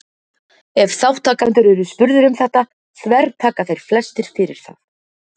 Ef þátttakendur eru spurðir um þetta þvertaka þeir flestir fyrir það.